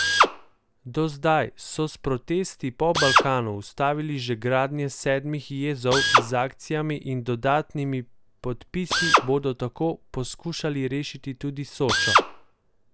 Do zdaj so s protesti po Balkanu ustavili že gradnje sedmih jezov, z akcijami in dodatnimi podpisi bodo tako poskušali rešiti tudi Sočo.